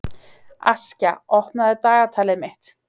Askja, opnaðu dagatalið mitt.